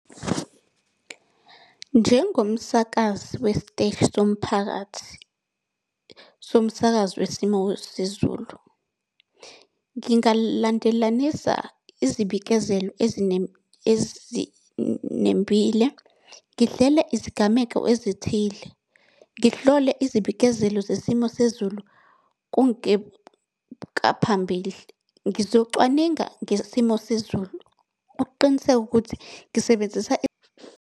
Njengomsakazi wesiteshi somphakathi, somsakazo wesimo sezulu. Ngingalandelanisa izibikezelo ezinembile, ngihlele izigameko ezithile. Ngihlole izibikezelo zesimo sezulu . Ngizocwaninga ngesimo sezulu ukuqiniseka ukuthi ngisebenzisa.